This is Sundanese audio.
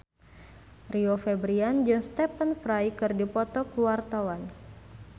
Rio Febrian jeung Stephen Fry keur dipoto ku wartawan